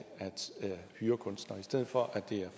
hyre kunstnere i stedet for at det